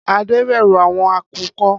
Ade bẹru awọn akukọ.